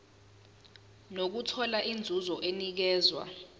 nokuthola inzuzo enikezwa